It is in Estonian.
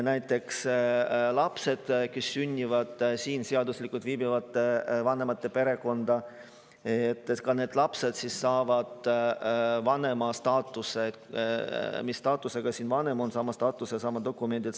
Näiteks need lapsed, kes sünnivad siin seaduslikult viibivate vanemate perekonda, saavad sama staatuse, mis staatusega on siin vanem, laps saab samad dokumendid.